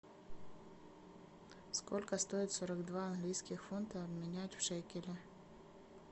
сколько стоит сорок два английских фунта обменять в шекели